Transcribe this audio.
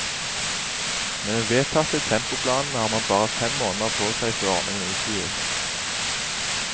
Med den vedtatte tempoplanen har man bare fem måneder på seg før ordningen utvides.